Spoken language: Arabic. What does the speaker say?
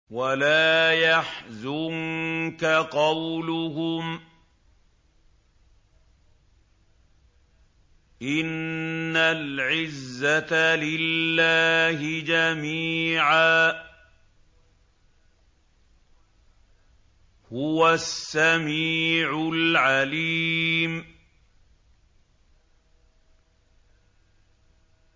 وَلَا يَحْزُنكَ قَوْلُهُمْ ۘ إِنَّ الْعِزَّةَ لِلَّهِ جَمِيعًا ۚ هُوَ السَّمِيعُ الْعَلِيمُ